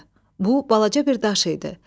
Bu balaca bir daş idi.